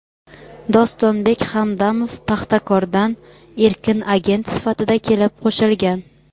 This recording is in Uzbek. Dostonbek Hamdamov "Paxtakor"dan erkin agent sifatida kelib qo‘shilgan.